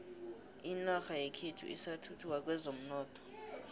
inorha yekhethu isathuthuka kwezomnotho